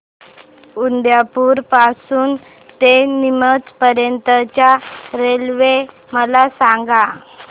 उदयपुर पासून ते नीमच पर्यंत च्या रेल्वे मला सांगा